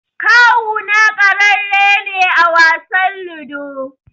Kawuna ƙararre ne a wasan Ludo.